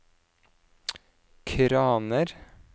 kraner